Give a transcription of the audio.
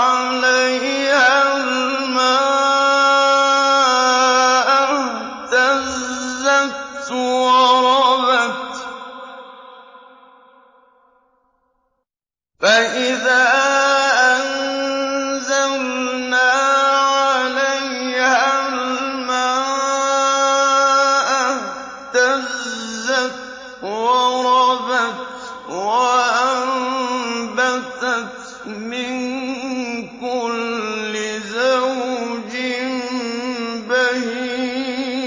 عَلَيْهَا الْمَاءَ اهْتَزَّتْ وَرَبَتْ وَأَنبَتَتْ مِن كُلِّ زَوْجٍ بَهِيجٍ